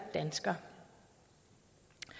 det